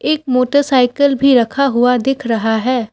एक मोटरसाइकल भी रखा हुआ दिख रहा है।